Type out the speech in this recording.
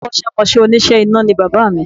Akọ́sẹ́mọsẹ́ òníṣe iná ni bàbá mi